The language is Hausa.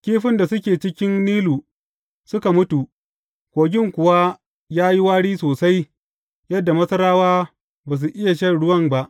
Kifin da suke cikin Nilu suka mutu, kogin kuwa ya yi wari sosai yadda Masarawa ba su iya shan ruwan ba.